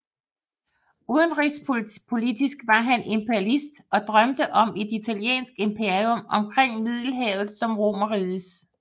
Udenrigspolitisk var han imperialist og drømte om et italiensk imperium omkring Middelhavet som Romerrigets